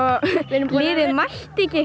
hitt liðið mætti ekki